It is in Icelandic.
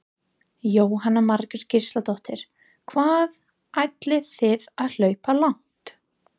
Jóhanna Margrét Gísladóttir: Hvað ætlið þið að hlaupa langt?